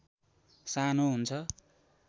सानो हुन्छ